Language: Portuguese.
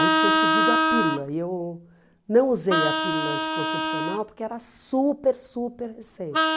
Aí tinha surgido a pílula e eu não usei a pílula anticoncepcional porque era super, super recente.